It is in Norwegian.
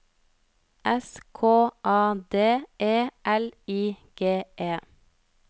S K A D E L I G E